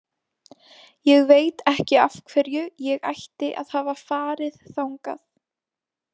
Ég veit ekki af hverju ég ætti að hafa farið þangað.